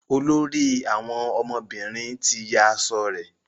olórí àwọn ọmọbìnrin tí yá aṣọ rẹ.